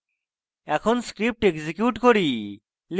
এখন script execute করি